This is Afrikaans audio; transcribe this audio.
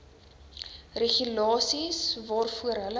regulasies waarvoor hulle